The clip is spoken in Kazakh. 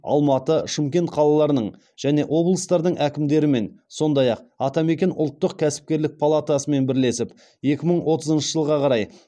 алматы шымкент қалаларының және облыстардың әкімдерімен сондай ақ атамекен ұлттық кәсіпкерлік палатасымен бірлесіп екі мың отызыншы жылға қарай